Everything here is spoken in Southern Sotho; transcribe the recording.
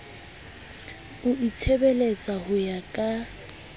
o itshebeletsa ho ya ka